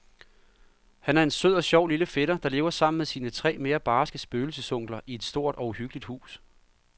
Han er en sød og sjov lille fætter, der lever sammen med sine tre mere barske spøgelsesonkler i et stort og uhyggeligt hus.